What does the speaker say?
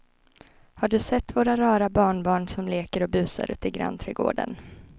Har du sett våra rara barnbarn som leker och busar ute i grannträdgården!